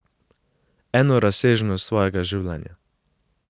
Eno razsežnost svojega življenja.